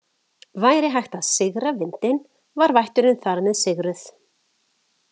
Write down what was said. Væri hægt að „sigra“ vindinn var vætturin þar með sigruð.